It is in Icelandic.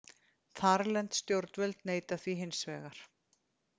Þarlend stjórnvöld neita því hins vegar